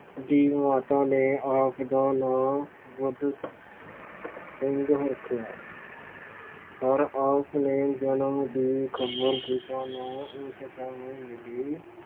ਦੀ ਮਾਤਾ ਨੇ ਆਪ ਦਾ ਨਾਂ ਬੁੱਧ ਸਿੰਘ ਰੱਖਿਆ ਪਰ ਆਪ ਨੇ ਜਨਮ ਦੀ ਖ਼ਬਰ ਪਿਤਾ ਨੂੰ ਉਸ ਸਮੇਂ ਮਿਲੀ